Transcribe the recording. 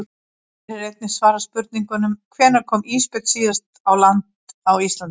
Hér er einnig svarað spurningunum: Hvenær kom ísbjörn síðast á land á Íslandi?